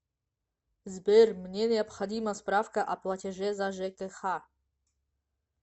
сбер мне необходима справка о платеже за жкх